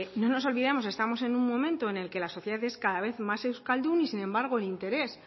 no nos olvidemos estamos en un momento en el que la sociedad es cada vez más euskaldun y sin embargo el interés